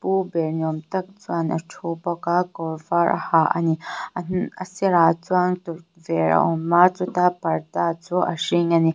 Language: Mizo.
u ber ni awm tak chuan a thu bawk a kawr var a ha a ni a sirah chuan tukverh a awm a chuta parda chu a hring a ni.